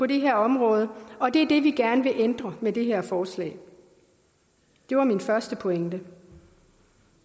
det her område og det er det vi gerne vil ændre med det her forslag det var min første pointe